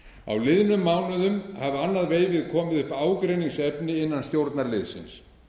á liðnum mánuðum hafa annað veifið komið upp ágreiningsefni innan stjórnarliðsins